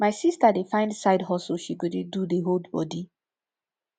my sister dey find side hustle she go dey do dey hold body